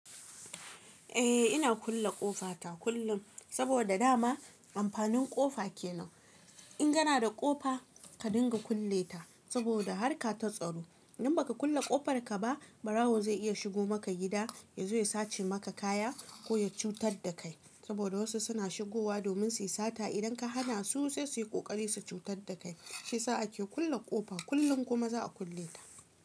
Eh ina kulle ƙofa ta kullum, saboda dama amfanin ƙofa ke nan. In kana da ƙofa ka dinga kulle ta saboda harka ta tsaro. In baka kulle ƙofar ka ba ɓarawo zai iya shigo maka gida, ya zo ya sace maka kaya ko ya cutar da kai. Saboda wasu suna shigowa domin su yi sata idan ka hana su sai su yi ƙoƙari su cutar da kai. Shi sa ake kulle ƙofa kullum kuma za a kulle ta.